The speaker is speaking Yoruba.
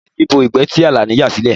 Eṣinṣin bo ìgbẹ́ ti Àlàní yà sílẹ̀